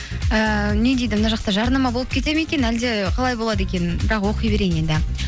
ііі не дейді мына жақта жарнама болып кетеді ме екен әлде қалай болады екен бірақ оқи берейін енді